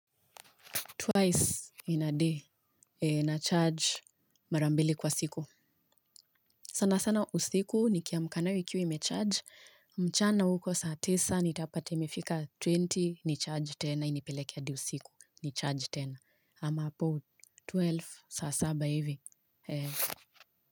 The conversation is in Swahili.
Twice in a day nacharge mara mbili kwa siku. Sana sana usiku nikiamka nayo ikiwa imecharge. Mchana huko saa tisa nitapata imefika twenty nicharge tena. Inipeleke hadi usiku nicharge tena. Ama hapo twelve, saa saba hivi.